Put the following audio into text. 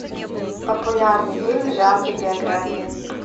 популярный фильм в жанре биография